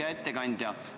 Hea ettekandja!